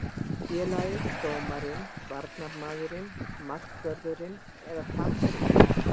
Félagið, dómarinn, varnarmaðurinn, markvörðurinn eða framherjinn?